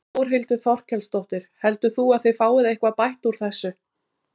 Þórhildur Þorkelsdóttir: Heldur þú að þið fáið eitthvað bætt úr þessu?